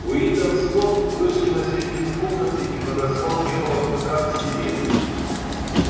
уидон скотт вышел на середину комнаты и подозвал белого клыка к себе